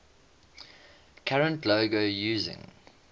current logo using